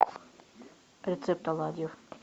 рецепт оладьев